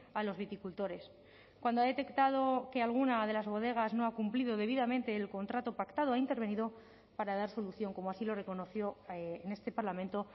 a los viticultores cuando ha detectado que alguna de las bodegas no ha cumplido debidamente el contrato pactado ha intervenido para dar solución como así lo reconoció en este parlamento